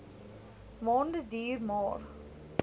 maande duur maar